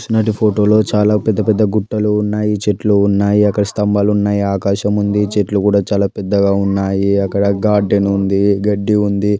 ఇచ్చినటువంటి ఫోటో లు చాలా పెద్ద పెద్ద గుట్టలు ఉన్నాయి చెట్లు ఉన్నాయి అక్కడ స్తంభాలు ఉన్నాయి ఆకాశముంది చెట్లు కూడా చాలా పెద్దగా ఉన్నాయి అక్కడ గార్డెన్ ఉంది గడ్డి ఉంది.